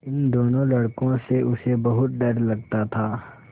इन दोनों लड़कों से उसे बहुत डर लगता था